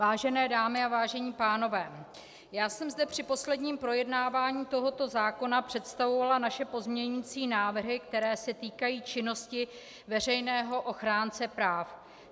Vážené dámy a vážení pánové, já jsem zde při posledním projednávání tohoto zákona představovala naše pozměňovací návrhy, které se týkají činnosti veřejného ochránce práv.